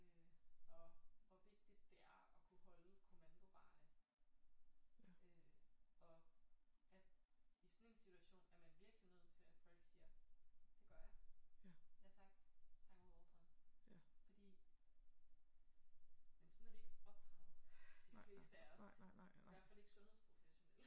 Øh og hvor vigtigt det er at kunne holde kommandoveje øh og at i sådan en situation er man virkelig nødt til at folk siger det gør jeg ja tak tager imod ordren fordi men sådan er vi ikke opdraget de fleste af os i hvert fald ikke sundhedsprofessionelle